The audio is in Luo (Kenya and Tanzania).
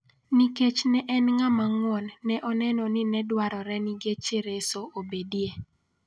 Nikech ne en ng'ama ng'won ne oneno ni ne dwarore ni geche reso obedie.